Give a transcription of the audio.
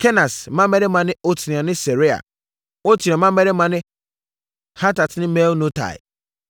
Kenas mmammarima ne Otniel ne Seraia. Otniel mmammarima ne Hatat ne Meonotai.